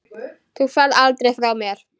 Þú ferð aldrei frá mér.